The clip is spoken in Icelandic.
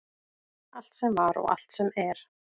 Allt sem var og allt sem er.